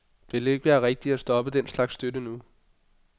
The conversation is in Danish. Det vil ikke være rigtigt at stoppe den slags støtte nu.